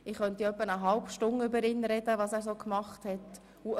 Ich könnte ja etwa eine halbe Stunde über ihn und was er so gemacht hat reden.